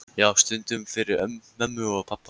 Já, stundum fyrir mömmu og pabba.